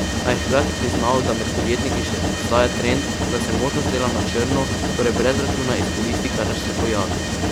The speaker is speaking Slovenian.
A je hkrati priznal, da med podjetniki še obstaja trend, da se možnost dela na črno, torej brez računa, izkoristi, kadar se pojavi.